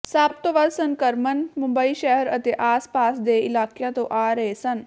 ਸਭ ਤੋਂ ਵੱਧ ਸੰਕਰਮਣ ਮੁੰਬਈ ਸ਼ਹਿਰ ਅਤੇ ਆਸ ਪਾਸ ਦੇ ਇਲਾਕਿਆਂ ਤੋਂ ਆ ਰਹੇ ਸਨ